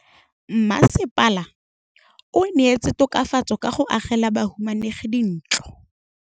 Mmasepala o neetse tokafatsô ka go agela bahumanegi dintlo.